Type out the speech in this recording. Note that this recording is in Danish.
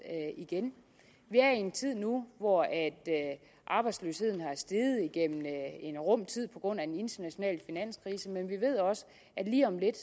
igen vi er i en tid nu hvor arbejdsløsheden er steget igennem en rum tid på grund af den internationale finanskrise men vi ved også at lige om lidt